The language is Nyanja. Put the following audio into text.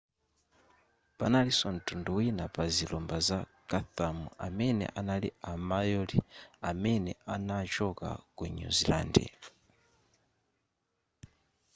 panalinso ntundu wina pa zilumba za chatham amene anali a maori amene anachoka ku new zealand